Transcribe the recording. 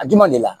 A juma deli la